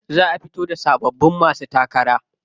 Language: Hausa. Za a fito da sababbin masu takara.